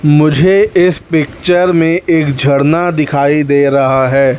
मुझे इस पिक्चर में एक झरना दिखाई दे रहा है।